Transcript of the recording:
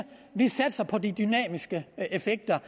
vi satser på de dynamiske effekter